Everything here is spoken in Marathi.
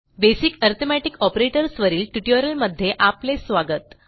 बेसिक अरिथमेटिक ऑपरेटर्स वरील ट्युटोरियलमध्ये आपले स्वागत